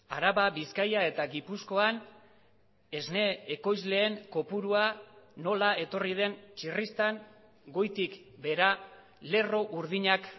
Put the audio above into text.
araba bizkaia eta gipuzkoan esne ekoizleen kopurua nola etorri den txirristan goitik behera lerro urdinak